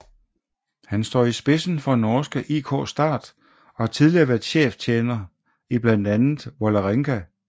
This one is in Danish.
Han står i spidsen for norske IK Start og har tidligere været cheftræner i blandt andet Vålerenga